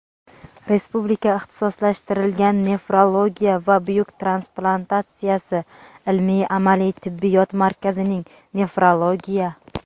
Respublika ixtisoslashtirilgan nefrologiya va buyrak transplantatsiyasi ilmiy-amaliy tibbiyot markazining – nefrologiya.